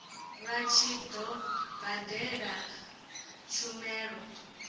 vha tshi do badela tshumelo